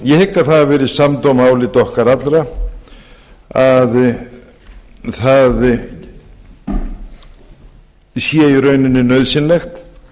ég hygg að það hafi verið samdóma álit okkar allra að það sé í rauninni nauðsynlegt